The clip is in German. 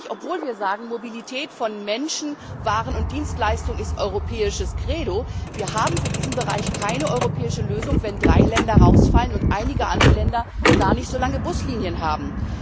Obwohl wir sagen, Mobilität von Menschen, Waren und Dienstleistungen ist europäisches Credo, haben wir für diesen Bereich keine europäische Lösung, wenn drei Länder nicht dabei sind und einige andere Länder gar nicht so lange Buslinien haben.